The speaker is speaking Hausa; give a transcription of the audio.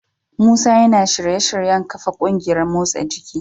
Musa yana shirye-shiryen kafa kungiyar motsa jiki.